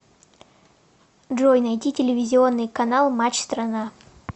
джой найти телевизионный канал матч страна